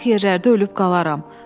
Uzaq yerlərdə ölüb qalaram.